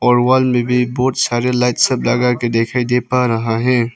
और वॉल में भी बहुत सारे लाइट्स सब लगाके दिखाई दे पड़ रहा है।